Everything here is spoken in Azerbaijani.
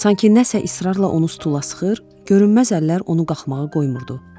Sanki nəsə israrla onu sıxır, görünməz əllər onu qalxmağa qoymurdu.